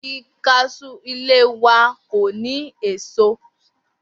Igi kas̩ú ilé wa kò ní èso